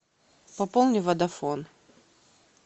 пополни водофон